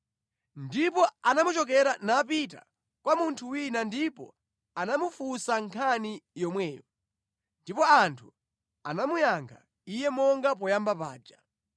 Ndipo anamuchokera napita kwa munthu wina ndipo anamufunsa nkhani yomweyo, ndipo anthu anamuyankha iye monga poyamba paja.